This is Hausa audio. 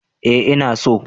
Eh ina so